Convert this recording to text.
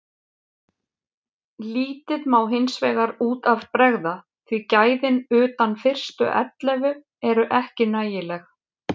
Lítið má hinsvegar út af bregða því gæðin utan fyrstu ellefu eru ekki nægileg.